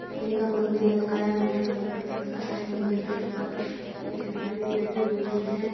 का मन्दिर लग रहा है मन्दिर व्हाइट कलर का है मन्दिर के ऊपर एक झंडी भी लगी हुई है।